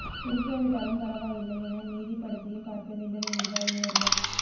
பிடிக்காவிட்டாலும் பரவாயில்லை என மீதிப் படத்தையும் பார்க்க வேண்டும் என்கிறார் இன்னொருவர்